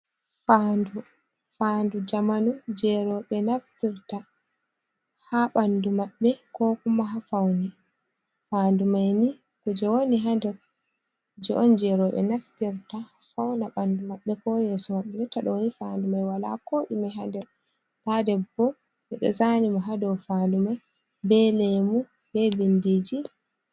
Faandu: Faandu zamanu je roɓe naftirta ha ɓandu maɓɓe ko kuma ha faune. Faandu mai ni ku je woni ha nder kuje on je roɓe naftirta fauna bandu maɓɓe ko yeso mabɓe. Jotta ɗoni faandu mai wala ko ɗume ha nder. Nda debbo ɓeɗo zani mo ha dow faandu mai be lemu, be bindiji.